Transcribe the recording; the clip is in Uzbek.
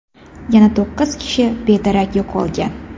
Yana to‘qqiz kishi bedarak yo‘qolgan.